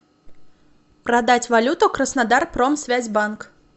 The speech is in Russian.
продать валюту краснодар промсвязьбанк